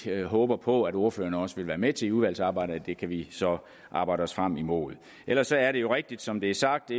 og håber på at ordførerne også vil være med til i udvalgsarbejdet og det kan vi så arbejde os frem mod ellers er det jo rigtigt som det er sagt